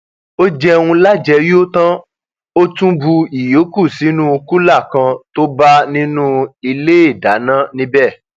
ó jẹun lájẹyó tán ó tún bu ìyókù sínú kùlà kan tó bá nínú iléedáná níbẹ